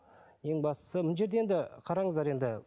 ең бастысы мына жерде енді қараңыздар енді